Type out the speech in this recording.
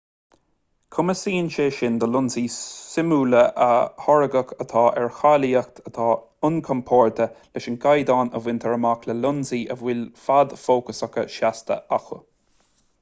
cumasaíonn sé sin do lionsaí súmála pictiúir a tháirgeadh atá ar cháilíocht atá inchomparáide leis an gcaighdeán a bhaintear amach le lionsaí a bhfuil fad fócasach seasta acu